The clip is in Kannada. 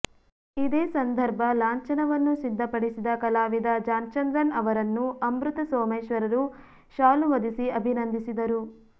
ಇದೇ ಸಂದರ್ಭ ಲಾಂಛನವನ್ನು ಸಿದ್ದಪಡಿಸಿದ ಕಲಾವಿದ ಜಾನ್ಚಂದ್ರನ್ ಅವರನ್ನೂ ಅಮೃತ ಸೋಮೇಶ್ವರರು ಶಾಲು ಹೊದಿಸಿ ಅಭಿನಂದಿಸಿದರು